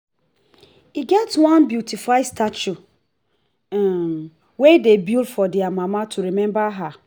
e get one beautify statue um wey dey build for their mama to remember her